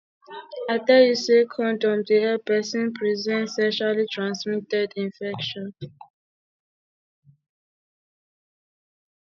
i tell you sey condom dey help pesin present sexually transmitted infection